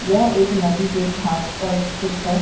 यह एक नदी के घाट पर स्थित है।